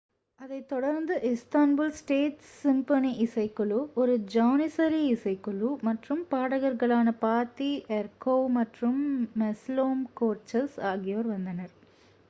அதைத் தொடர்ந்து Istanbul State Symphony இசைக்குழு ஒரு ஜானிசரி இசைக்குழு மற்றும் பாடகர்களான பாத்தி எர்கோவ் மற்றும் மெஸ்லோம் கோர்சஸ் ஆகியோர் வந்தனர்